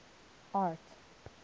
art